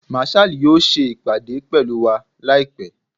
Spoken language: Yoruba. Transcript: Marshal yoo ṣe ipade pẹlu wa laipẹ